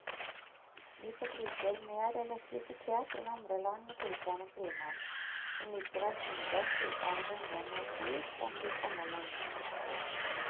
Vi forbruker mer elektrisitet enn andre land med tilsvarende klima, men likevel mindre eller tilsvarende mengde energi som de samme landene.